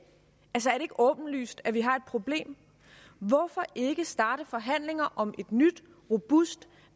ikke åbenlyst at vi har et problem hvorfor ikke starte forhandlinger om et nyt robust